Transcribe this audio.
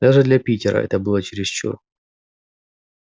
даже для питера это было чересчур